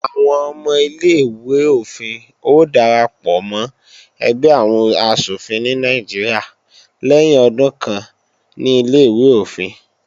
Àwọn ọmọ ilé-ìwé-òfin ó darapọ̀ mọ́ ẹgbẹ́ àwọn asòfin ní Nàìjíríà lẹ́yìn ọdún kan ní Ilé-ìwé òfin.